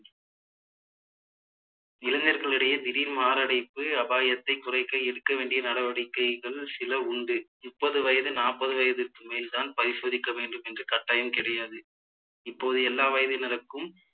இளைஞர்களிடையே திடீர் மாரடைப்பு அபாயத்தை குறைக்க எடுக்க வேண்டிய நடவடிக்கைகள் சில உண்டு முப்பது வயது நாற்பது வயதுக்கு மேல்தான் பரிசோதிக்க வேண்டும் என்று கட்டாயம் கிடையாது இப்போது எல்லா வயதினருக்கும்